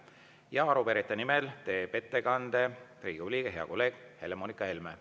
Ja arupärijate nimel teeb ettekande Riigikogu liige, hea kolleeg Helle-Moonika Helme.